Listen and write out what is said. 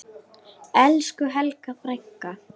Elsku Helga frænka.